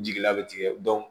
Jigila bɛ tigɛ